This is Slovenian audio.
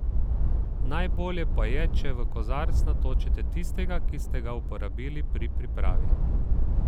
Najbolje pa je, če v kozarec natočite tistega, ki ste ga uporabili pri pripravi.